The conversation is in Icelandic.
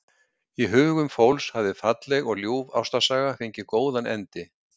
Í hugum fólks hafði falleg og ljúf ástarsaga fengið góðan endi.